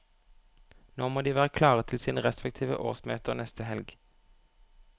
Nå må de være klare til sine respektive årsmøter neste helg.